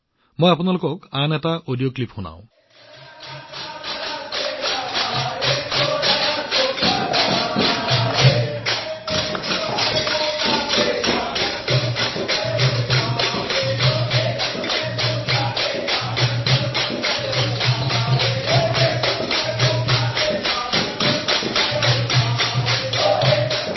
মোক আপোনালোকৰ বাবে আৰু এটা অডিঅ ক্লিপ বজাবলৈ দিয়ক